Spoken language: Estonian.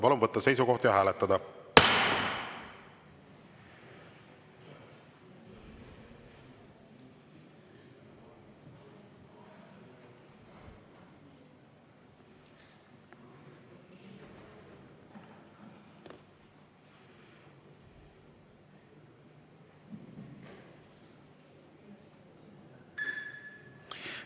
Palun võtta seisukoht ja hääletada!